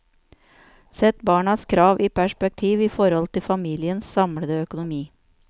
Sett barnas krav i perspektiv i forhold til familiens samlede økonomi.